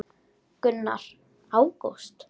Gunnar: Ágúst?